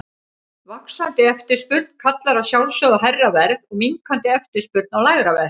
Vaxandi eftirspurn kallar að sjálfsögðu á hærra verð og minnkandi eftirspurn á lægra verð.